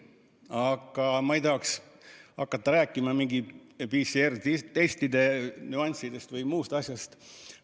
Aga ma ei taha hakata rääkima mingitest PCR-testide nüanssidest või muust asjast.